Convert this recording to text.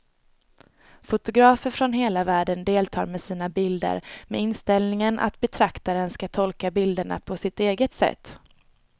Fotografer från hela världen deltar med sina bilder med inställningen att betraktaren ska tolka bilderna på sitt eget sätt.